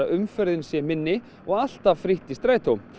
umferðin sé minni og alltaf frítt í strætó